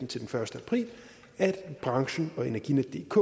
til den første april at branchen og energinetdk